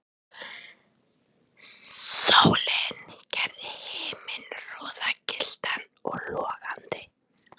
Sólin gerði himininn roðagylltan og logandi.